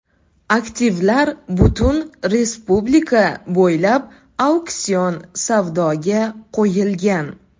Aktivlar butun respublika bo‘ylab auksion savdoga qo‘yilgan.